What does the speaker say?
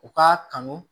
U k'a kanu